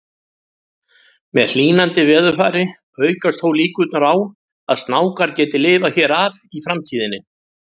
Með hlýnandi veðurfari aukast þó líkurnar á að snákar geti lifað hér af í framtíðinni.